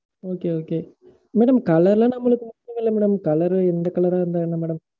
Okay, okay. Madam, colour லாம் நம்மளுக்கு ஒண்ணுமில்ல madam. colour ரு எந்த colour ஆ இருந்தா என்ன madam